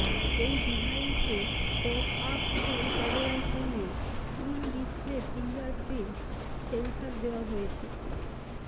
এই ডিভাইসে pop up front ক্যামেরার সঙ্গে ইন ডিসপ্লে ফিঙ্গারপ্রিন্ট সেন্সার দেওয়া হেয়ছে